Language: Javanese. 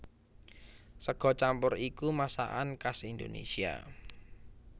Sega campur iku masakan khas Indonésia